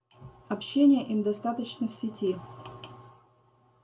общения им достаточно в сети